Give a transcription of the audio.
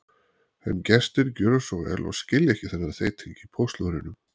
En gestir gjöra svo vel og skilja ekki þennan þeyting í póstlúðrinum.